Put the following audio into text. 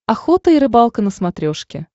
охота и рыбалка на смотрешке